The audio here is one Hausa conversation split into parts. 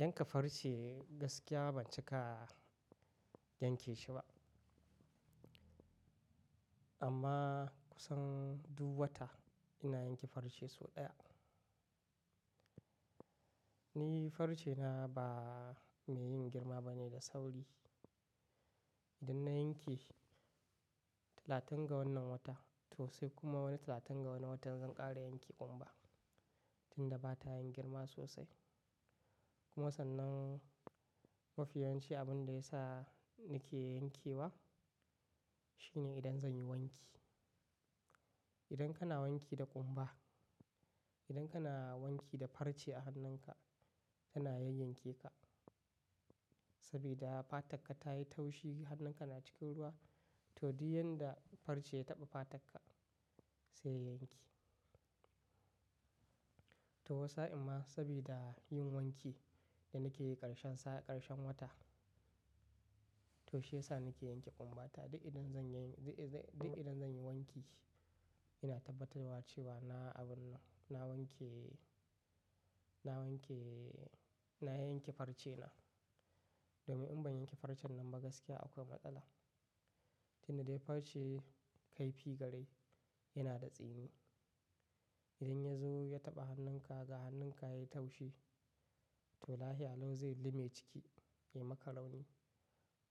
Yanka farce gaskiya ban cika yanke shi ba. Amma kusan duk wata ina yanke farce sau ɗaya. Ni farce na ba mai yin girma ba ne da sauri. Idan na yanke talatin ga wannan wata to sai kuma wani talatin ga wani watan zan ƙara yanke ƙumba tunda ba ta yin girma sosai. Kuma sannan mafi yawanci abin da ya sa ni ke yankewa shine idan zan yi wanki. Idan kana wanki da ƙumba, idan kana wanki da farce a hannunka tana yayyanke ka saboda fatar ka ta yi taushi, hannunka na cikin ruwa to duk yanda farce ya taɓa fatar ka sai ya yanke. To wasa amma saboda yin wanki da na ke yi ƙarshen ƙarshen wata to shi ya sa na ke yanke ƙumba. Duk idan zan yi wanki ina tabbatarwa cewa na abun nan, na wanke, na yanke farce na. Domin in ban yanke farcen nan ba gaskiya akwai matsala. Tunda dai farce kaifi garai yana da tsini. Idan ya zo ya taɓa hannunka ga hannunka ya yi taushi to lahia lau zai lime ciki ya maka rauni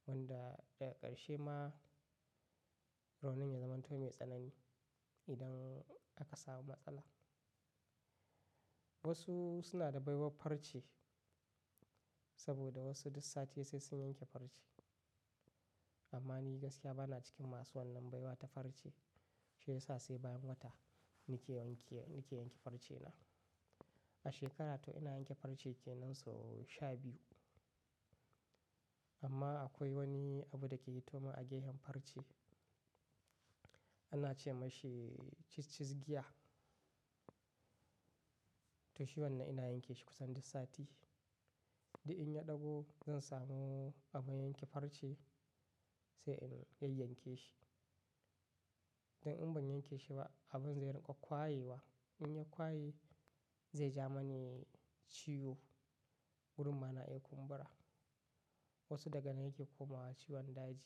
wanda daga ƙarshe ma raunin ya zama toh mai tsanani idan aka samu matsala. Wasu suna da baiwar farce saboda wasu duk sati sai sun yanke farce. Amma ni gaskiya bana cikin masu wannan baiwa ta farce. Shi ya sa sai bayan wata ni ke yanke farce na. A shekara toh ina yanke farce kenan sau sha biyu. Amma akwai wani abu da ke hito mun a gefen farce ana ce mashi cis cis giya. To shi wannan ina yanke shi kusan duk sati. Da in ya ɗago zan samu abun yanke farce sai in yayyanke shi. Idan in ban yanke shi ba abun zai riƙa ƙwayewa. In ya ƙwaye zai ja mani ciwo wurin ma na iya kumbura. Wasu daga nan yake komawa ciwon daji.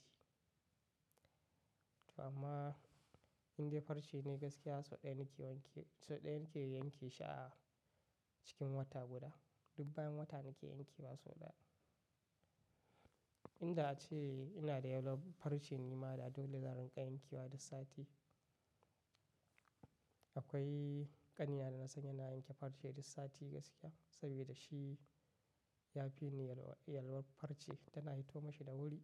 To amma inda farce ne gaskiya sau ɗaya na ke yanke shi a cikin wata guda. Duk bayan wata na ke yanke wa sau ɗaya. Inda ace ina da yalwar farce ne ma da dole zan riƙa yankewa duk sati. Akwai ƙanina da na san yana yanke farce duk sati gaskiya saboda shi ya fi ni yalwar farce tana hito mashi da wuri.